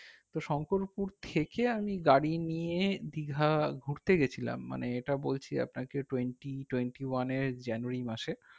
তো শংকরপুর থেকে আমি গাড়ি নিয়ে দীঘা ঘুরতে গেছিলাম মানে এটা বলছি আপনাকে twenty twentyone এর January মাসে